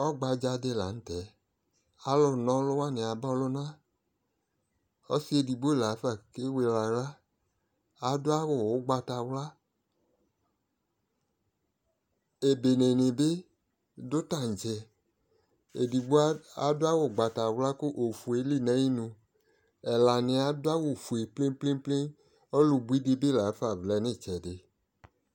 ɔgbadza di lantɛ, ɔlʋ na ɔlʋna wani aba ɔlʋna, ɔsii ɛdigbɔ laƒa kɛ wɛlɛ ala, adʋ awʋ ɔgbatawla, ɛbɛnɛ ni bi dʋ tankyɛ, ɛdigbɔ afʋ awʋɔgbatawla kʋ ɔƒʋɛ ɛli nʋ ayinʋ, ɛla niɛ adʋ awʋ ƒʋɛ plɛnplɛ, ɔlʋ bʋi dibi laƒa vlɛnʋ itsɛdi